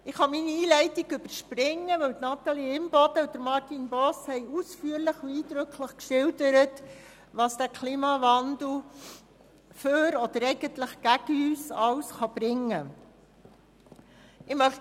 Ich kann meine Einleitung überspringen, weil Grossrätin Natalie Imboden und Grossrat Martin Boss ausführlich und eindrücklich geschildert haben, was der Klimawandel für oder eigentlich gegen uns alles bringen kann.